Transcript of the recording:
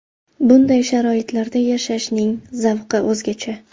Bunday sharoitlarda yashashning zavqi o‘zgacha.